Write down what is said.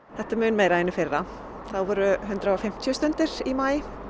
þetta er mun meira en í fyrra þá voru hundrað og fimmtíu stundir í maí